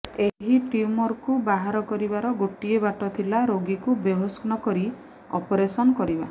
ଏହି ଟ୍ୟୁମରକୁ ବାହାର କରିବାର ଗୋଟିଏ ବାଟ ଥିଲା ରୋଗୀକୁ ବେହୋସ୍ ନକରି ଅପରେସନ୍ କରିବା